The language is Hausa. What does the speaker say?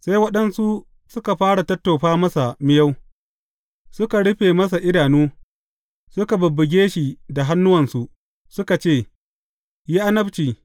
Sai waɗansu suka fara tattofa masa miyau, suka rufe masa idanu, suka bubbuge shi da hannuwansu, suka ce, Yi annabci!